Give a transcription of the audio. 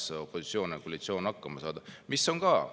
Püüdke, opositsioon ja koalitsioon, siinsamas hakkama saada.